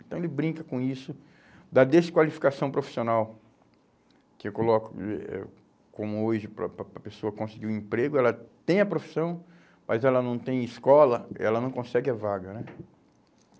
Então ele brinca com isso da desqualificação profissional, que eu coloco eh eh como hoje, para para para a pessoa conseguir um emprego, ela tem a profissão, mas ela não tem escola, ela não consegue a vaga, né?